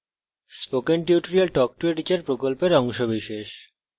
spoken tutorial talk to a teacher প্রকল্পের অংশবিশেষ